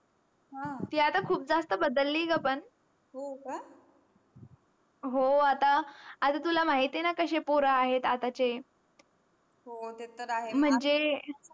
ह ती आत खूप जास्त बदली ग पण हो का हो आता तुला माहिती न कसे पोर आहे आताचे हो ते तर आहे मंझे.